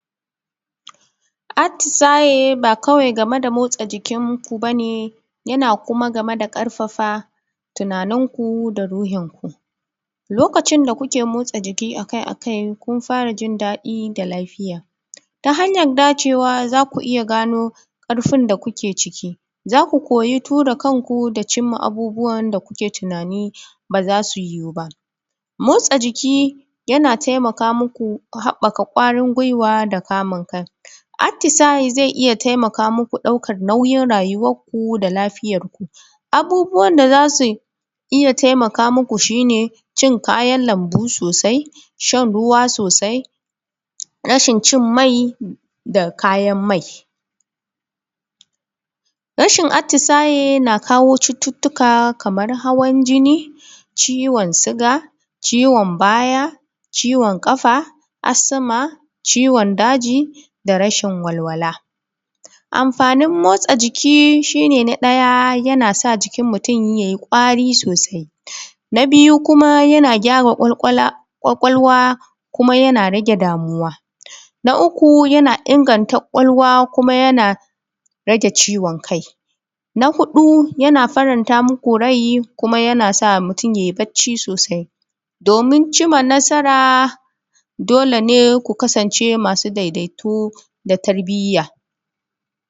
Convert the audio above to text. atisaye ba kawai game da motsa jikin ku kawai ba ne yana kuwa game da ƙarfafa tunanin ku da ruhinku lokacin da ku ke motsa jiki akai-akai kuna fara jin daɗi da lafiya ta hanyan dacewa za ku iya gano karfin da kuke ciki za ku ko yi tura kanku gane a abubuwa da ku ke tunani ba za su yiwuba motsin jiki yana taimaka muku ku haɓaka kwarin guiwa da ka mun kai atisaya zai taimaka muku ɗaukar nauyi rayiwarku da laɸiyar ku abubuwan da za su iya taimaka muku shine cin kayan lambu sosai shan ruwa sosai rashin cin mai da kayan mai rashin atisaye na kawo cututtuka kamar hawan jini ciwon shuga ciwon baya ciwon ƙafa asma ciwon daji da rashin walwala, amfanin motsa jiki shine na ɗaya yana sa jikin mutum yai kwari sosai na biyu, yana gyara kwakwalwa yana rage damuwa na uku yana inganta kwakwalwa kuma yana rage ciwon kai na hudu yana faran ta muku rai kuma yana sa mutum ya yi barci sosai domin in manasara dole ne ku kasance dai dai to da tarbiya